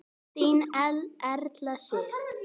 Þín Elfa Sif.